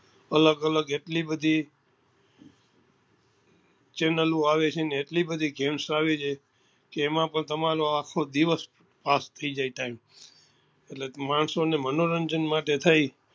અલગ અલગ એટલે બધી chanel આવે છે ને એટલી બધી games આવે છે જેમાં પણ તમારો આખો દિવસ pass થઇ જાય time વ એટલે માણસો ને મનોરંજન માટે થઇ